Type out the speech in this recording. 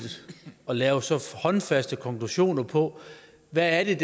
at lave så håndfaste konklusioner på hvad der